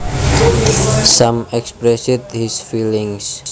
Sam expressed his feelings